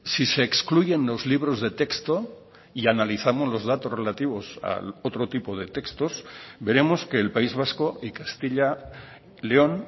si se excluyen los libros de texto y analizamos los datos relativos al otro tipo de textos veremos que el país vasco y castilla león